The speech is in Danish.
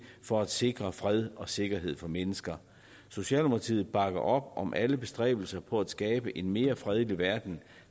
for at sikre fred og sikkerhed for mennesker socialdemokratiet bakker op om alle bestræbelser på at skabe en mere fredelig verden